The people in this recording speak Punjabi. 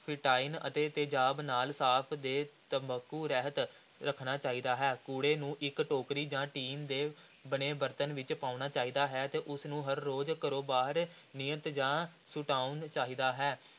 ਅਤੇ ਤੇਜ਼ਾਬ ਨਾਲ ਸਾਫ਼ ਤੇ ਤੰਬਾਕੂ ਰਹਿਤ ਰੱਖਣਾ ਚਾਹੀਦਾ ਹੈ, ਕੂੜੇ ਨੂੰ ਇਕ ਟੋਕਰੀ ਜਾਂ ਟੀਨ ਦੇ ਬਣੇ ਬਰਤਨ ਵਿਚ ਪਾਉਣਾ ਚਾਹੀਦਾ ਹੈ ਤੇ ਉਸ ਨੂੰ ਹਰ ਰੋਜ਼ ਘਰੋਂ ਬਾਹਰ ਨਿਯਤ ਥਾਂ ਸੁਟਾਉਣਾ ਚਾਹੀਦਾ ਹੈ।